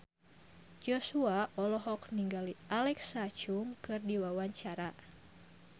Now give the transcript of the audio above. Joshua olohok ningali Alexa Chung keur diwawancara